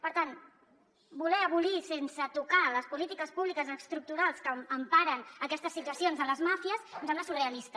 per tant voler abolir sense tocar les polítiques públiques estructurals que emparen aquestes situacions de les màfies em sembla surrealista